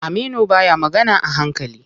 Aminu baya magana a hankali.